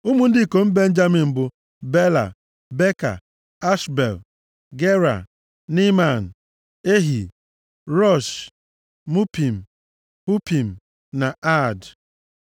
Ụmụ ndị ikom Benjamin bụ, Bela, Beka, Ashbel, Gera, Neeman, Ehi, Rosh, Mupim, Hupim na Aad.